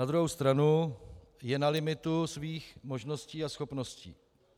Na druhou stranu je na limitu svých možností a schopností.